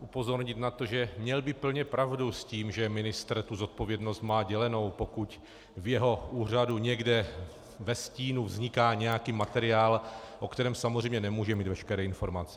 upozornit na to, že by měl plně pravdu s tím, že ministr tu zodpovědnost má dělenou, pokud v jeho úřadu někde ve stínu vzniká nějaký materiál, o kterém samozřejmě nemůže mít veškeré informace.